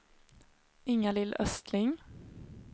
Inga-Lill Östling